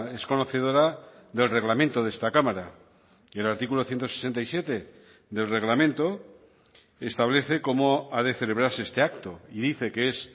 es conocedora del reglamento de esta cámara y el artículo ciento sesenta y siete del reglamento establece cómo ha de celebrarse este acto y dice que es